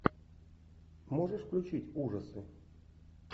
можешь включить ужасы